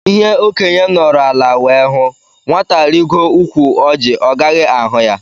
Ihé okénye nọrọ ala wee hụ, nwata rigoo ụkwụ Orji ọ gaghị ahụ ya.